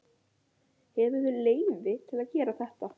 Hefurðu leyfi til að gera þetta?